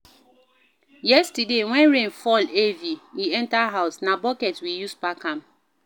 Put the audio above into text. Yesterday, wen rain fall heavy e enter house, na bucket we use pack am.